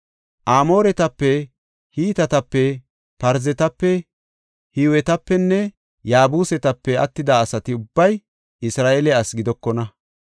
Amooretape, Hitetape, Parzetape, Hiwetapenne Yaabusetape attida asati ubbay Isra7eele ase gidokona.